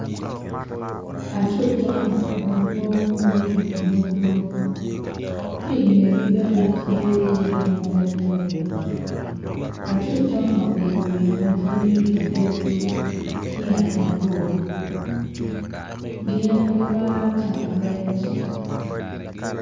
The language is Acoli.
Acut conga madwong ma gucung imudo ki ingegi bene tye yadi mapadi padi acut conga obedo winyo ma tye ki dog ki tyen mabor gin gimaro camo rec